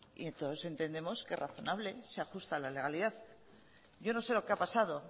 y todos entendemos que es razonable se ajusta a la legalidad yo no sé lo que ha pasado